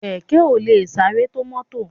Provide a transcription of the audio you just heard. Kẹ̀kẹ́ ò lè sáré tó mọ́tò